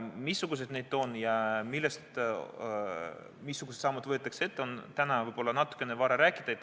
Missugused need on ja missugused sammud võetakse ette, sellest on täna võib-olla natukene vara rääkida.